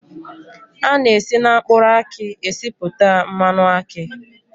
A na-esi na mkpụrụ aki esipụta mmanụ akị